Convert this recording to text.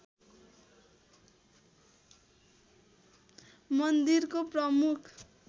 मन्दिरको प्रमुख